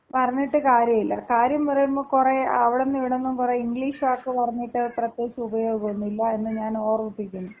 പറഞ്ഞിട്ട് കാര്യല്ല. കാര്യം പറയുമ്പോ കൊറേ അവിടുന്നും ഇവിടുന്നും കൊറേ ഇംഗ്ലീഷ് വാക്ക് പറഞ്ഞിട്ട് പ്രത്യേകിച്ച് ഉപയോഗൊന്നുല്ല എന്ന് ഞാനോർമിപ്പിക്കുന്നു.